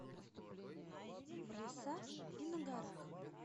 в лесах и на горах